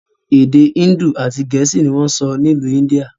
Èdè índù àti gẹ̀ẹ́sì ni wọn ń sọ n'ilu India.